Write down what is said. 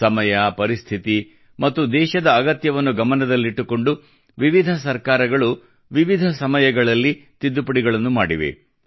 ಸಮಯ ಪರಿಸ್ಥಿತಿ ಮತ್ತು ದೇಶದ ಅಗತ್ಯವನ್ನು ಗಮನದಲ್ಲಿಟ್ಟುಕೊಂಡು ವಿವಿಧ ಸರ್ಕಾರಗಳು ವಿವಿಧ ಸಮಯಗಳಲ್ಲಿ ತಿದ್ದುಪಡಿಗಳನ್ನು ಮಾಡಿವೆ